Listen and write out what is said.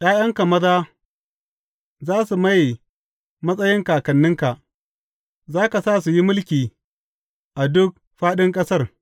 ’Ya’yanka maza za su maye matsayin kakanninka; za ka sa su yi mulki a duk fāɗin ƙasar.